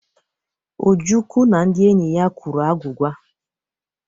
Ojukwu na ndị enyi ya kwuru agwụgwa.